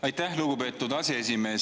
Aitäh, lugupeetud aseesimees!